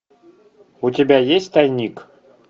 у тебя есть тайник